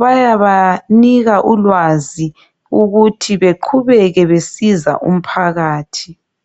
Bayabanika ulwazi ukuthi beqhubeke besiza umphakathi.